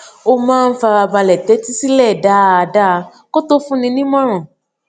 ó máa ń fara balè tétí sílè dáadáa kó tó fúnni nímòràn